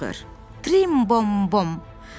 Trim bom bom.